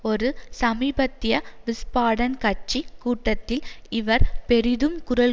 ஒரு சமீபத்திய விஸ்பாடன் கட்சி கூட்டத்தில் இவர் பெரிதும் குரல்